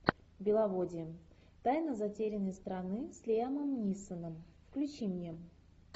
беловодье тайна затерянной страны с лиамом нисоном включи мне